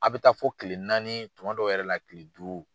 A bi taa fɔ kile naani kuma dɔw yɛrɛ la kile duuru